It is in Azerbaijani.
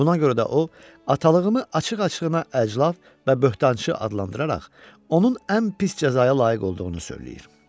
Buna görə də o, atalığımı açıq-açığına əclaf və böhtançı adlandıraraq onun ən pis cəzaya layiq olduğunu söyləyir.